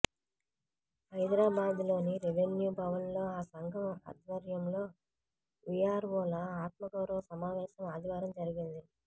హైదరాబాద్లోని రెవెన్యూ భవన్లో ఆ సంఘం ఆధ్వర్యంలో వీఆర్వోల ఆత్మగౌరవ సమావేశం ఆదివారం జరిగింది